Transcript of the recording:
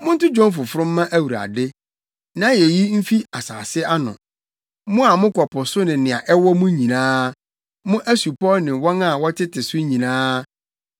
Monto dwom foforo mma Awurade! Nʼayeyi mfi asase ano, mo a mokɔ po so ne nea ɛwo mu nyinaa, mo asupɔw ne wɔn a wɔtete so nyinaa.